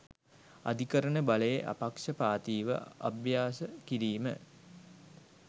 අධිකරණ බලය අපක්ෂපාතීව අභ්‍යාස කිරීම